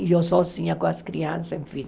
E eu sozinha com as crianças, enfim.